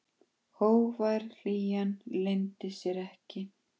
Hógvær hlýjan leyndi sér ekki.